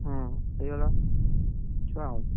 ହଁ ହେଇଗଲା ଛୁଆ ଆଉ,